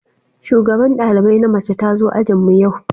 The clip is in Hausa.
Shugaban dalibai na mace ta zo ajin mu yau.